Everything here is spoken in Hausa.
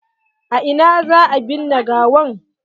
A ina za a binne gawan?